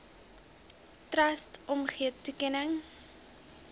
trust omgee toekenning